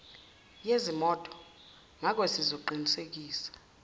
yezimoto ngakoke sizoqinisekisa